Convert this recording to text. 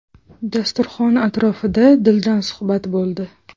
Dasturxon atrofida dildan suhbat bo‘ldi.